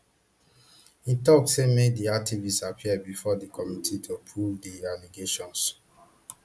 im tok say make di activist appear bifor di committee to prove di allegations